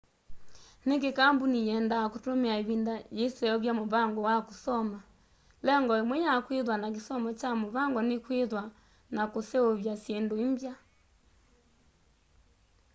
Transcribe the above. niki kambuni yenda kutumia ivinda yiiseuvya muvango wa kusoma lengo imwe ya kwithwa na kisomo kya muvango ni kwithwa na kuseuvya syindu imbya